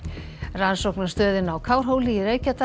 rannsóknastöðin á Kárhóli í Reykjadal